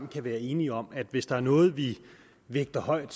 kan være enige om at hvis der er noget vi vægter højt